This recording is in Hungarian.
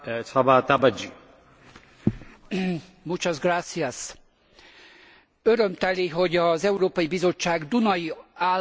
Örömteli, hogy az Európai Bizottság dunai államának alelnöke, Sefcovic úr megtette azt a nyilatkozatát.